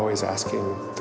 að vísa